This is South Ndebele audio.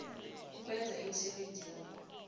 ukwenza imisebenzi yabo